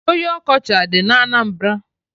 Oyi ọkọchị adị na Anambra?